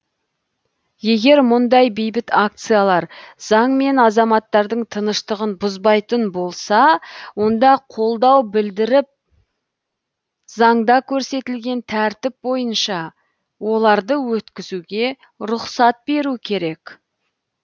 егер мұндай бейбіт акциялар заң мен азаматтардың тыныштығын бұзбайтын болса онда қолдау білдіріп заңда көрсетілген тәртіп бойынша оларды өткізуге рұқсат беру керек